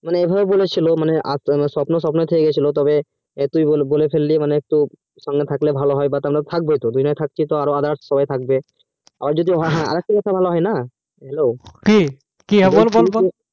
মানে এ ভাবে বলেছিলো মানে স্বপ্ন স্বপ্নই থেকে গেছিল হ্যাঁ তুই বলে ফেললি তুই আমার সঙ্গে থাকবোই তো মানে দুজনেই থাকবোই তো আর ওরাও তো থাকবে আরো হ্যাঁ একটু কথা ভালো হয় না hello